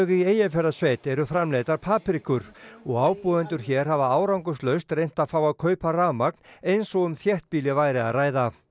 í Eyjafjarðarsveit eru framleiddar paprikur og ábúendur hér hafa árangurslaust reynt að fá að kaupa rafmagn eins og um þéttbýli væri að ræða